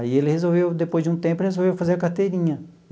Aí, ele resolveu, depois de um tempo, resolver fazer a carteirinha.